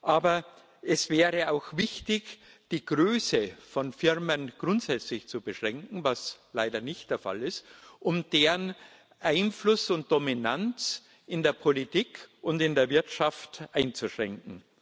Aber es wäre auch wichtig, die Größe von Firmen grundsätzlich zu beschränken was leider nicht der Fall ist und deren Einfluss und Dominanz in der Politik und in der Wirtschaft einzuschränken.